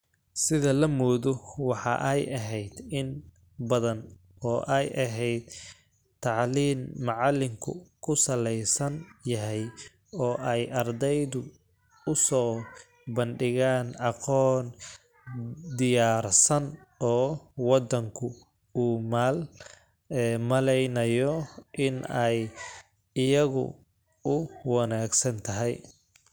Sida la moodo, waxa ay ahayd in badan oo ay ahayd tacliin macalinku ku salaysan yahay oo ay ardadu u soo bandhigaan aqoon diyaarsan oo waddanku u malaynayo in ay iyaga u wanaagsan tahay.